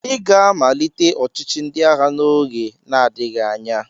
Ị ga-amalite ọchịchị ndị agha n'oge na-adịghị anya!